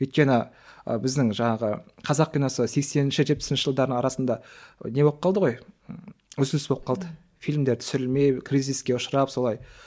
өйткені ы біздің жаңағы қазақ киносы сексенінші жетпісінші жылдардың арасында не болып қалды ғой ы үзіліс болып қалды фильмдер түсірілмей кризиске ұшырап солай